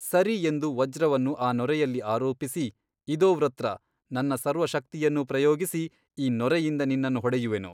ಸರಿ ಎಂದು ವಜ್ರವನ್ನು ಆ ನೊರೆಯಲ್ಲಿ ಆರೋಪಿಸಿ ಇದೋ ವೃತ್ರ ನನ್ನ ಸರ್ವಶಕ್ತಿಯನ್ನೂ ಪ್ರಯೋಗಿಸಿ ಈ ನೊರೆಯಿಂದ ನಿನ್ನನ್ನು ಹೊಡೆಯುವೆನು.